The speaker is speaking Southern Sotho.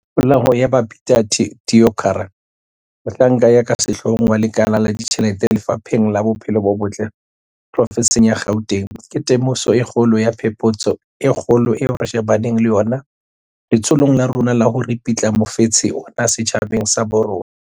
Polao ya Babita Deokaran, mohlanka ya ka sehloohong wa lekala la ditjhelete Lefapheng la Bophelo bo Botle provenseng ya Gauteng, ke temoso e kgolo ya phephetso e kgolo eo re shebaneng le yona letsholong la rona la ho ripitla mofetshe ona setjhabeng sa bo rona.